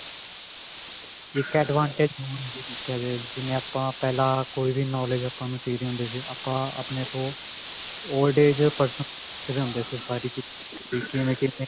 ਇੱਕ advantage ਹੋਰ ਹੈ ਇਹਦੇ ਵਿੱਚ ਜਿਵੇਂ ਆਪਾਂ ਪਹਿਲਾਂ ਕੋਈ knowledge ਆਪਾਂ ਨੂੰ ਚਾਹੀਦੀ ਹੁੰਦੀ ਸੀ ਆਪਾਂ ਆਪਣੇ ਤੋਂ old age person ਪੁੱਛਦੇ ਹੁੰਦੇ ਸੀ ਸਾਰੇ ਚੀਜ਼ਾਂ ਵੀ ਕਿਵੇਂ ਕਿਵੇਂ